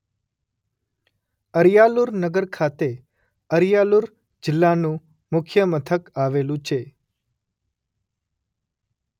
અરિયાલુર નગર ખાતે અરિયાલુર જિલ્લાનું મુખ્ય મથક આવેલું છે.